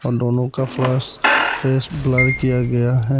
दोनों का फ्लस फेस ब्लर किया गया है।